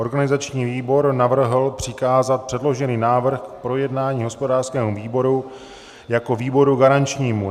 Organizační výbor navrhl přikázat předložený návrh k projednání hospodářskému výboru jako výboru garančnímu.